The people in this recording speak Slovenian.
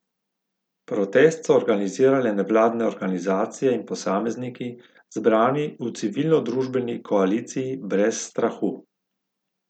Protest so organizirale nevladne organizacije in posamezniki, zbrani v civilnodružbeni koaliciji Brez strahu.